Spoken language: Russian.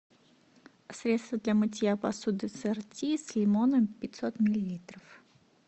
средство для мытья посуды сорти с лимоном пятьсот миллилитров